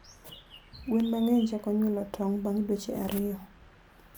Gwen mangeny chako nyuolo tong bang dweche ariyo